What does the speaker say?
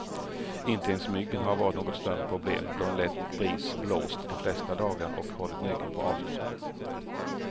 Inte ens myggen har varit något större problem, då en lätt bris blåst de flesta dagar och hållit myggen på avstånd.